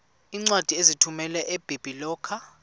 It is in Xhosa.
iincwadi ozithumela ebiblecor